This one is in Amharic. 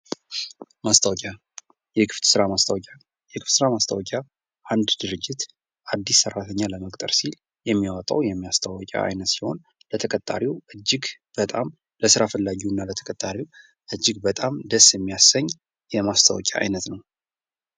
ማስታወቂያ ። የክፍት ስራ ማስታወቂያ ፡ የክፍት ስራ ማስታወቂያ አንድ ድርጅት አዲስ ሰራተኛ ለመቅጠር ሲል የሚያወጣው የማስታወቂያ አይነት ሲሆን ለተቀጣሪው እጅግ በጣም ለስራ ፈላጊው እና ለተቀጣሪው እጅግ በጣም ደስ ሚያሰኝ የማስታወቂያ አይነት ነው ።